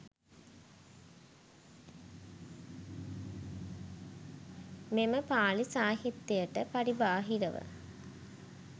මෙම පාලි සාහිත්‍යයට පරිබාහිරව,